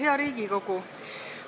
Hea Riigikogu!